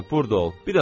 Hə, burda ol.